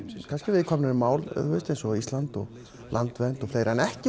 viðkvæmari mál eins og Ísland og landvernd en ekki